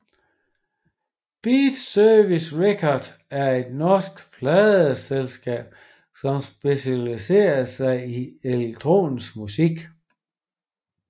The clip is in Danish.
Beatservice Records er et norsk pladeselskab som specialiserer sig i elektronisk musik